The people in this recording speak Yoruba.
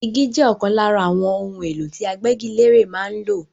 Igi jẹ́ ọ̀kan lára àwọn ohun èlò tí agbégilére máa ń lò.